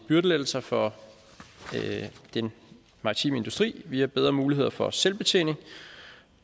byrdelettelser for den maritime industri via bedre muligheder for selvbetjening